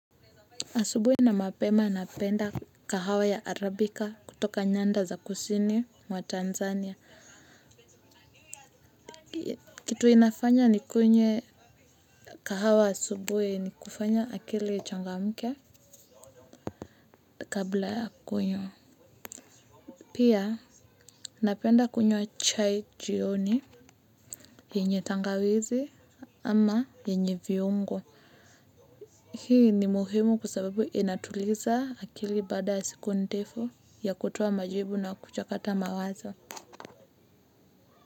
Asubui na mapema napenda kahawa ya Arabica kutoka nyanda za kusini wa Tanzania. Kitu inafanya nikunywe kahawa asubui nikufanya akili ichangamke kabla ya kunywa. Pia napenda kunywa chai jioni yenye tangawizi ama yenye viungo. Hii ni muhimu kwa sababu inatuliza akili baada ya siku ndefu ya kutoa majibu na kuchakata mawazo.